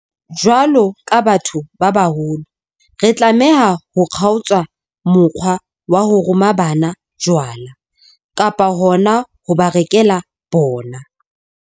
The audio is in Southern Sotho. Jwalo ka batho ba baholo, re tlameha ho kgaotsa mokgwa wa ho roma bana jwala, kapa hona ho ba rekela bona.